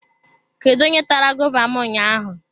Kedu onye tara gova m ụnyaahụ?